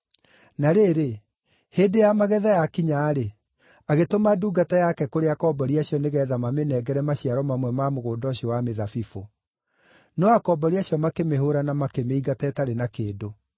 Na rĩrĩ, hĩndĩ ya magetha yakinya-rĩ, agĩtũma ndungata yake kũrĩ akombori acio nĩgeetha mamĩnengere maciaro mamwe ma mũgũnda ũcio wa mĩthabibũ. No akombori acio makĩmĩhũũra na makĩmĩingata ĩtarĩ na kĩndũ.